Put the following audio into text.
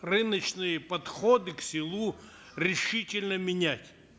рыночные подходы к селу решительно менять